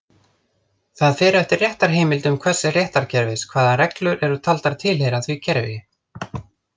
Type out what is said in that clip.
Það fer eftir réttarheimildum hvers réttarkerfis hvaða reglur eru taldar tilheyra því kerfi.